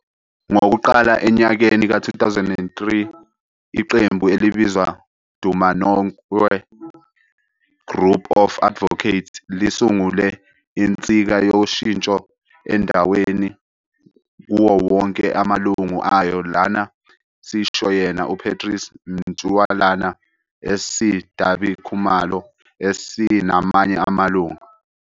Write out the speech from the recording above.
Ngokuqala enyakeni ka-2003 iqembu elibizwa Duma Nokwe Group of Advocates lisungule insika yoshintsho endaweni kuwo wonke amalunga ayo lana sisho yena uPatrice Mtshualana SC, Dabi Kumalo SC, namanye amalunga.